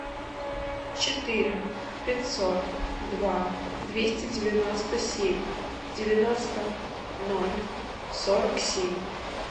четыре пятьсот два двести девяносто семь девяносто ноль сорок семь